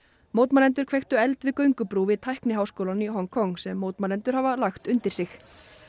mótmælendur kveiktu eld við göngubrú við tækniháskólann í Hong Kong sem mótmælendur hafa lagt undir sig